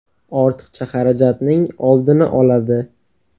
Ortiqcha xarajatning oldini oladi.